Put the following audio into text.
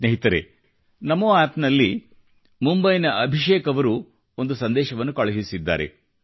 ಸ್ನೇಹಿತರೆ ನಮೊ ಆಪ್ ನಲ್ಲಿ ಮುಂಬೈಯ ಅಭಿಷೇಕ್ ಅವರು ಒಂದು ಸಂದೇಶವನ್ನು ಕಳುಹಿಸಿದ್ದಾರೆ